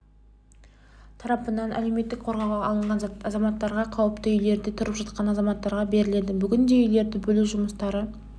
тарапынан әлеуметтік қорғауға алынған азаматтарға қауіпті үйлерде тұрып жатқан азаматтарға беріледі бүгінде үйлерді бөлу жұмыстары